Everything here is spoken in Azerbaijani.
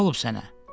Nə olub sənə?